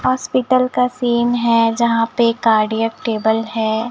Hospital का scene है जहां पे कार्डियक टेबल है।